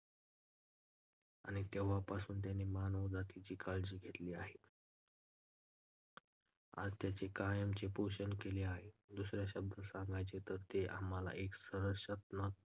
आणि तेव्हापासून त्याने मानवजातीची काळजी घेतली आहे आणि त्याचे कायमचे पोषण केले आहे. दुस-या शब्दात सांगायचे तर, ते आम्हाला एक संरक्षणात्मक